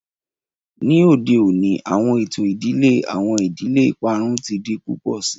Ni ode oni awọn eto idile, awọn idile iparun ti di pupọ sii.